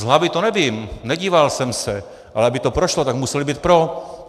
Z hlavy to nevím, nedíval jsem se, ale aby to prošlo, tak museli být pro.